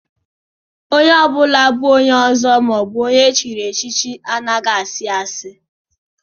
A red cap chief or a titled man doesn't lie